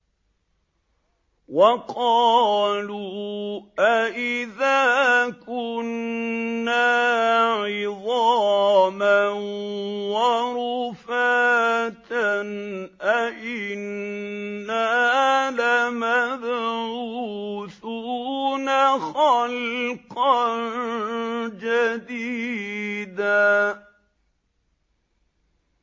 وَقَالُوا أَإِذَا كُنَّا عِظَامًا وَرُفَاتًا أَإِنَّا لَمَبْعُوثُونَ خَلْقًا جَدِيدًا